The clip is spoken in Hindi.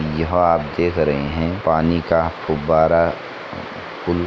यहाँ आप देख रहे है पानी का गुब्बारा फू --